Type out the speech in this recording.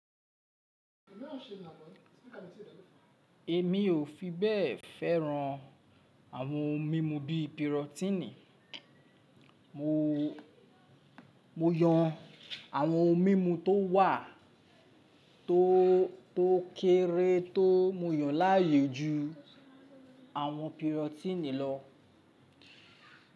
Èmi ò fi bẹ́ẹ̀ fẹ́ran àwọn ohun mímu bí i pírọ́tínì, mo yàn àwọn ohun mímu tó wà tó kéré tó mo yàn láàyo ju àwọn pírọ́tínì lọ.